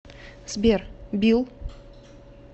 сбер билл